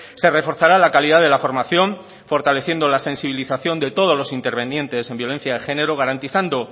se reforzará la calidad de la formación fortaleciendo la sensibilización de todos los intervinientes en violencia de género garantizando